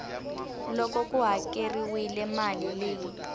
loko ku hakeriwile mali leyi